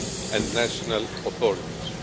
and national authorities